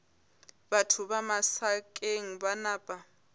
batho ba masakeng ba napa